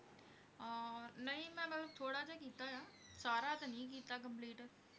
ਆਹ ਨਹੀਂ ਮੈਂ ਮਤਲਬ ਥੌੜਾ ਜਿਹਾ ਕਿਥ, ਸਾਰਾ ਤਹਿ ਨਹੀਂ ਕੀਤਾ complete